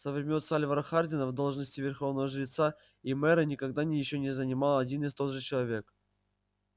со времён сальвора хардина должности верховного жреца и мэра никогда ещё не занимал один и тот же человек